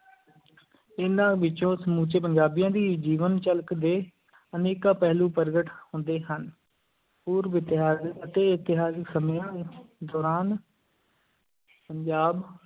ਇਹਨਾਂ ਵਿੱਚੋਂ ਸਮੁੱਚੇ ਪੰਜਾਬੀਆਂ ਦੀ ਜੀਵਨ-ਝਲਕ ਦੇ ਅਨੇਕਾਂ ਪਹਿਲੂ ਪ੍ਰਗਟ ਹੁੰਦੇ ਹਨ, ਪੂਰਵ ਇਤਿਹਾਸ ਅਤੇ ਇਤਹਾਸਿਕ ਸਮਿਆਂ ਦੌਰਾਨ ਪੰਜਾਬ